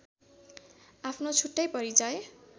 आफ्नो छुट्टै परिचय